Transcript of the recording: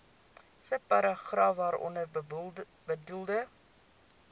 subparagraaf waaronder bedoelde